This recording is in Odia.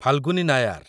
ଫାଲ୍‌ଗୁନୀ ନାୟାର